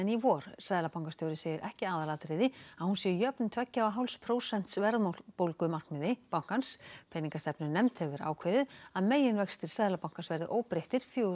í vor seðlabankastjóri segir ekki aðalatriði að hún sé jöfn tveggja og hálfs prósents verðbólgumarkmiði bankans peningastefnunefnd hefur ákveðið að meginvextir Seðlabankans verði óbreyttir fjórar